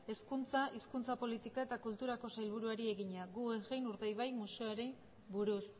hezkuntza hizkuntza politika eta kulturako sailburuari egina guggenheim urdaibai museoari buruz